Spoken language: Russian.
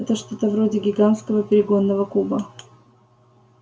это что-то вроде гигантского перегонного куба